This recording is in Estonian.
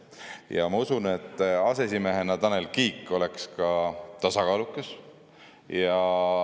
Ja ma usun, et aseesimehena oleks Tanel Kiik tasakaalukas.